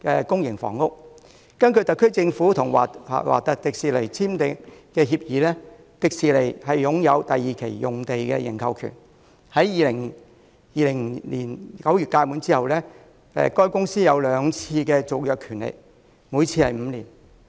根據特區政府與華特迪士尼公司簽訂的協議，迪士尼擁有第二期用地的認購權，在2020年9月屆滿後，該公司還有兩次續期的權利，每次5年。